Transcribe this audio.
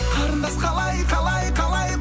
қарындас қалай қалай қалай